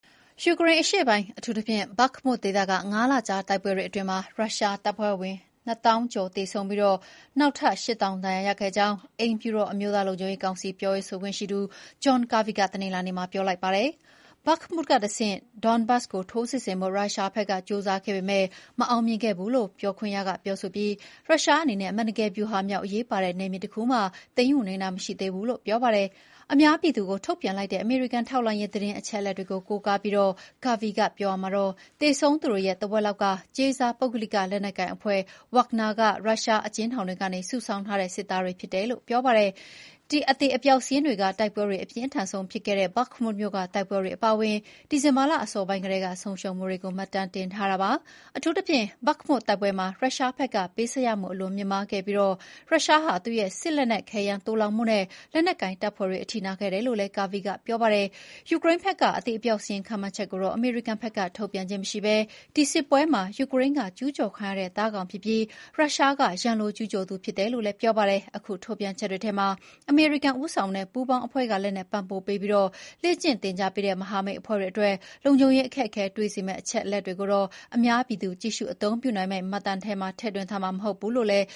ယူကရိန်းအရှေ့ပိုင်း အထူးသဖြင့် ဘက်မု (Bakhmut) ဒေသက ၅ လကြာတိုက်ပွဲတွေအတွင်း ရုရှားတပ်ဖွဲ့ဝင် ၂၀,၀၀၀ ကျော် သေဆုံးပြီး နောက်ထပ် ၈၀,၀၀၀ ဒဏ်ရာရခဲ့ကြောင်း အိမ်ဖြူတော် အမျိုးသားလုံခြုံရေးကောင်စီ ပြောရေးဆိုခွင့်ရှိသူ ဂျွန်ကာဗီ (John Kirby) က တနင်္လာနေ့မှာ ပြောလိုက်ပါတယ်။ “ဘက်မုကတဆင့် ဒန်းဘေးစ် (Donbass) ကို ထိုးစစ်ဆင်ဖို့ ရုရှားဘက်က ကြိုးစားခဲ့ပေမယ့် မအောင်မြင်ခဲ့ဘူးလို့ ပြောခွင့်ရကဆိုပြီး “ရုရှားအနေနဲ့ အမှန်တကယ် ဗျူဟာမြောက် အရေးပါတဲ့ နယ်မြေတခုမှ သိမ်းယူနိုင်တာမရှိသေးဘူး” လို့ ပြောပါတယ်။ အများပြည်သူကိုထုတ်ပြန်လိုက်တဲ့ အမေရိကန်ထောက်လှမ်းရေး သတင်းအချက်အလက်တွေကိုကိုးကားပြီး ကာဗီကပြောရာမှာ သေဆုံးသူတွေရဲ့ ထက်ဝက်လောက်က ကြေးစားပုဂ္ဂလိကလက်နက်ကိုင်အဖွဲ့ ဗာ့ဂနာ (Wagner) က ရုရှားအကျဉ်းထောင်တွေကနေ စုဆောင်းထားတဲ့ စစ်သားတွေဖြစ်တယ်လို့ ဆိုပါတယ်။ ဒီ အသေအပျောက်စာရင်းတွေက တိုက်ပွဲတွေ အပြင်းအထန်ဆုံးဖြစ်ခဲ့တဲ့ ဘက်မု မြို့က တိုက်ပွဲတွေအပါအဝင် ဒီဇင်ဘာလအစပိုင်းကတည်းက ဆုံးရှုံးမှုတွေကို မှတ်တမ်းတင်ထားတာပါ။ အထူးသဖြင့် ဘက်မုတိုက်ပွဲမှာ ရုရှားဘက်ကပေးဆပ်ရမှု အလွန်မြင့်မားခဲ့ပြီး ရုရှားဟာ သူ့ရဲ့ စစ်လက်နက်ခဲယမ်းသိုလှောင်မှုနဲ့ လက်နက်ကိုင်တပ်ဖွဲ့တွေ အထိနာခဲ့တယ်လို့ ကာဗီက ပြောပါတယ်။ ယူကရိန်းဘက်က အသေအပျောက်စာရင်းခန့်မှန်းချက်ကိုတော့ အမေရိကန်ဘက်က ထုတ်ပြန်ခြင်းမရှိဘဲ ဒီစစ်ပွဲမှာ ယူကရိန်းက ကျူးကျော်ခံရတဲ့သားကောင်ဖြစ်ပြီး ရုရှားက ရန်လိုကျူးကျော်သူဖြစ်တယ်လို့ ကာဗီကဆိုပါတယ်။ အခု ထုတ်ပြန်ချက်တွေထဲမှာ အမေရိကန်ဦးဆောင်တဲ့ပူးပေါင်းအဖွဲ့က လက်နက်ပံ့ပိုးပေးပြီး လေ့ကျင့်သင်ကြားပေးတဲ့ မဟာမိတ်အဖွဲ့အတွက် လုံခြုံရေးအခက်အခဲတွေ့စေမယ့် အချက်အလက်တွေကိုတော့ အများပြည်သူ ကြည့်ရှုအသုံးပြနိုင်မယ့်မှတ်တမ်းထဲမှာ ထည့်သွင်းမှာမဟုတ်ဘူးလို့လည်း